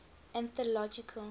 anthological